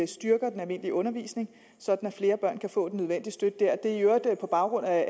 styrker den almindelige undervisning sådan at flere børn kan få den nødvendige støtte der det er i øvrigt på baggrund af